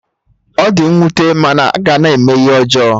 Ọ di nwute mana a ga na-eme ihe ọjọọ